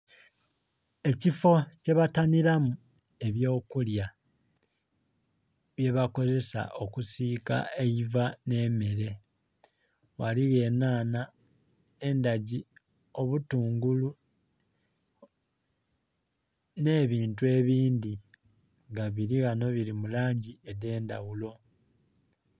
Ekifoo kye batanhiramu ebyo kulya bye bakozesa okusiika eiva nhe'mere, ghaligho enhanha, endhagi, obutungulu nhe bintu ebindhi nga bili ghanho bili mu langi edhendhaghulo.